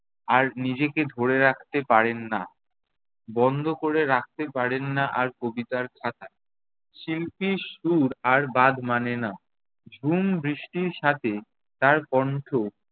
আর নিজেকে ধরে রাখতে পারেন না। বন্ধ ক'রে রাখতে পারেন না আর কবিতার খাতা। শিল্পীর সুর আর বাঁধ মানে না। ঝুম বৃষ্টির সাথে তার কণ্ঠ